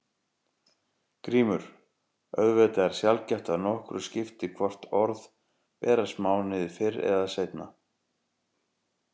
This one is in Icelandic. GRÍMUR: Auðvitað er sjaldgæft að nokkru skipti hvort orð berast mánuði fyrr eða seinna.